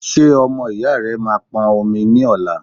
Ṣé ọmọ ìyá rẹ máa pọn omi ní ọla?